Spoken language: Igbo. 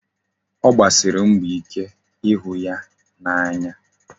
Ọ gbasiri mbọ ike ịhụ ya n'anya.